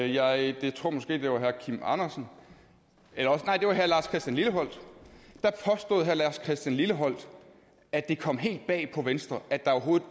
jeg tror måske det var herre kim andersen nej det var herre lars christian lilleholt herre lars christian lilleholt at det kom helt bag på venstre at der overhovedet